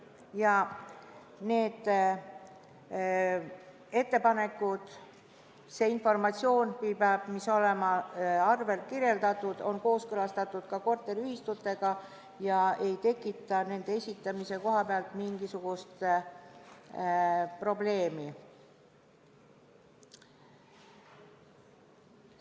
Ja need ettepanekud, see informatsioon, mis peab olema arvel kirjeldatud, on kooskõlastatud ka korteriühistutega ja ei tekita nende esitamise koha pealt mingisugust probleemi.